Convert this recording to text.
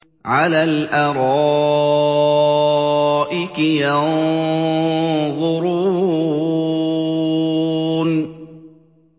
عَلَى الْأَرَائِكِ يَنظُرُونَ